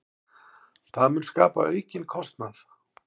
Það mun skapa aukinn kostnað.